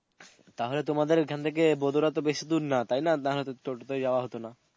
তাহলে তোমাদের এখান থেকে বদরা তো বেশী দূর না? তাইনা? না হলে তো টোটোতে যাওয়া হতনা.